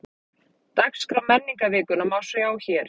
Dagskrá menningarvikunnar má sjá hér